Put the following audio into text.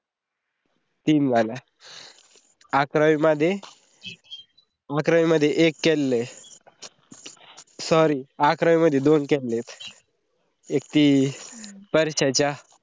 तीन झालया, आक्रावी मध्ये अकरावी मध्ये एक केलेले sorry अकरावी मध्ये दोन केलेत. एक थी वर्षाच्या